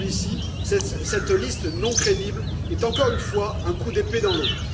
Moscovici, cette liste non crédible est, encore une fois, un coup d'épée dans l'eau.